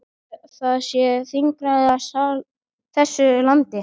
Heldurðu að það sé þingræði í þessu landi?